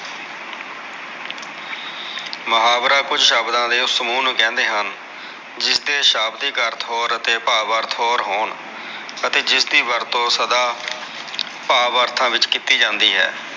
ਮੁਹਾਵਰਾ ਕੁਝ ਸ਼ਬਦਾ ਦੇ ਓਸ ਸਮੂਹ ਨੂ ਕਹਿੰਦੇ ਹਨ ਜਿਸ ਦੇ ਸ਼ਾਬਦਿਕ ਅਰਥ ਹੋਰ ਅਤੇ ਭਾਵ ਆਰਥਿਕ ਹੋਰ ਹੋਣ ਅਤੇ ਜਿਸਦੀ ਵਰਤੋ ਸਦਾ ਭਾਵ ਅਰਥਾ ਵਿਚ ਕੀਤੀ ਜਾਂਦੀ ਹੈ